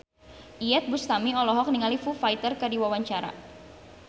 Iyeth Bustami olohok ningali Foo Fighter keur diwawancara